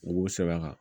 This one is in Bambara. U b'o sɛbɛn a kan